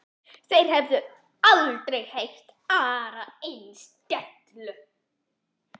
Þeir höfðu aldrei heyrt aðra eins dellu.